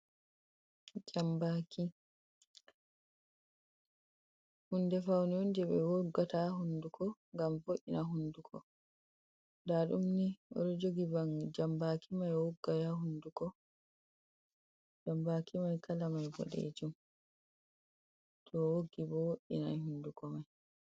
Jambaki, hunde faunuye je ɓe woggata haa hunduko gam vo'ina hunduko. da ɗumni oɗo jogi janbaki o woggay haa hunduko, jambaki mai kala mai boɗejum, to woggi bo wo'inai hunduko mai.